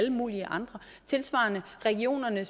regionerne